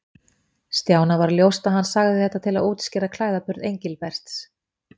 Stjána varð ljóst að hann sagði þetta til að útskýra klæðaburð Engilberts.